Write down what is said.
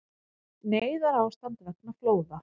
Neyðarástand vegna flóða